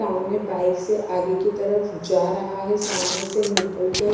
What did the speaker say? सामने बाइक से आगे की तरफ जा रहा है सामने से निकल कर।